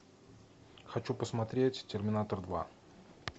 хочу посмотреть терминатор два